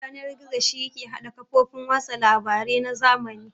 Yanar-gizo shi yake hada ƙafofin watsa labare na zamani